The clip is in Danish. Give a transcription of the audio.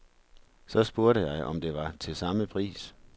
Så spurgte jeg, om det var til samme pris.